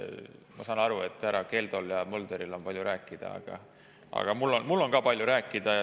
Ma saan aru, et härra Keldol ja Mölderil on palju rääkida, aga mul on ka palju rääkida.